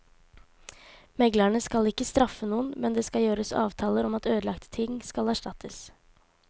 Meglerne skal ikke straffe noen, men det kan gjøres avtaler om at ødelagte ting skal erstattes.